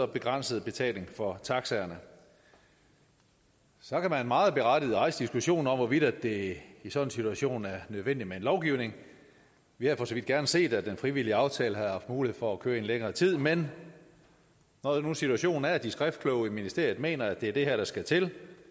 begrænset betaling for taxaerne så kan man meget berettiget rejse diskussionen om hvorvidt det i sådan en situation er nødvendigt med en lovgivning vi havde for så vidt gerne set at den frivillige aftale havde haft mulighed for at køre i en længere tid men når nu situationen er at de skriftkloge i ministeriet mener at det er det her der skal til